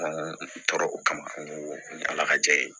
tora o kama n ko ala ka ja ye